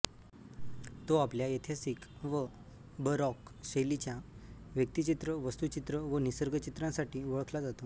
तो आपल्या ऐतिहासिक व बरॉक शैलीच्या व्यक्तीचित्र वस्तूचित्र व निसर्गचित्रांसाठी ओळखला जातो